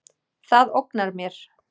Það ógnar mér.